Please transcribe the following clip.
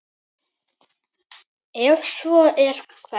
Ef svo er, hvern?